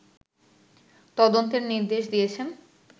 তদন্তের নির্দেশ দিয়েছেন